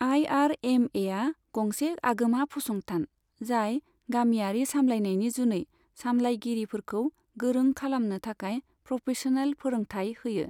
I R M एआ गंसे आगोमा फसंथान, जाय गामियारि सामलायनायनि जुनै सामलायगिरिफोरखौ गोरों खालामनो थाखाय प्रफेशनेल फोरोंथाय होयो।